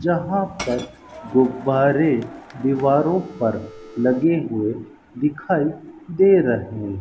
जहां पर गुब्बारे दीवारों पर लगे हुए दिखाई दे रहें --